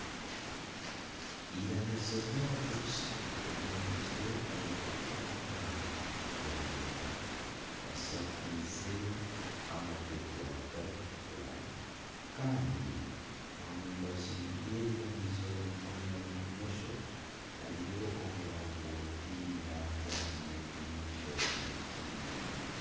Eiramizo ey'abakristo ryombekirwe omu bugo bwa karina rishakaize amategura garikutukura kandi omu mbaju y'eiramizo mukono bumosho hariyo omurongooti nangwa n'endiijo miti mirungi.